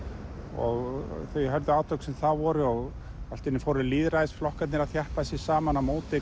og þau hörðu átök sem þar voru og allt í einu fóru lýðræðisflokkarnir að þjappa sér saman á móti